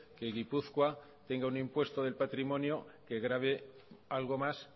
que gipuzkoa tenga un impuesto del patrimonio que grave algo más